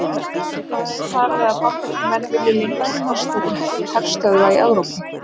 Hvað er talið að Bandaríkjamenn vilji lengi kosta til herstöðva í Evrópu?